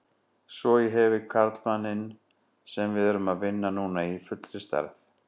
Svo ég hefi karlmanninn sem við erum að vinna núna í fullri stærð.